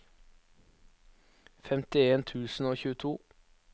femtien tusen og tjueto